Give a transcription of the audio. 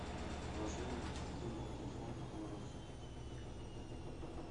положи деньги на телефон моему родственнику